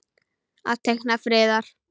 Að teikna friðar.